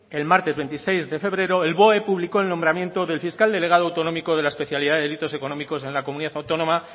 el martes veintiséis de febrero el boe publicó el nombramiento del fiscal delegado autonómico de la especialidad de delitos económicos en la comunidad autónoma